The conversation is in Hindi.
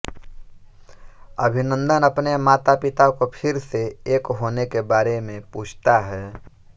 अभिनंदन अपने मातापिता को फिर से एक होने के बारे में पूछता है